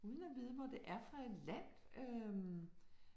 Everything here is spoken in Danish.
Uden at vide hvor det er fra et land øh